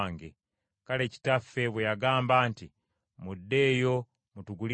Kale kitaffe bwe yagamba nti, ‘Muddeeyo mutugulire ku mmere,’